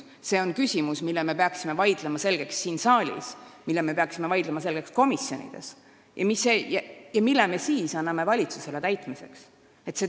See on küsimus, mille me peaksime vaidlema selgeks siin saalis ja komisjonides ning siis andma valitsusele täitmiseks otsuse.